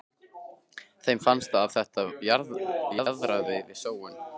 Þeim fannst að þetta jaðraði við sóun.